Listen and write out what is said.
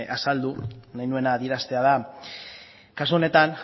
azaldu nahi nuena adieraztea da kasu honetan